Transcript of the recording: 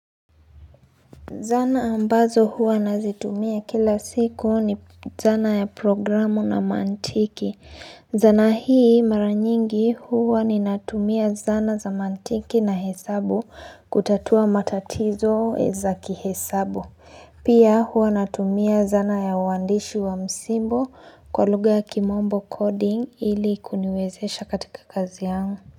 Zana ambazo huwa nazitumia kila siku ni zana ya programu na mantiki. Zana hii mara nyingi huwa ninatumia zana za mantiki na hesabu kutatua matatizo za kihesabu. Pia huwa natumia zana ya uandishi wa msimbo kwa lugha ya kimombo, 'coding' ili kuniwezesha katika kazi yangu.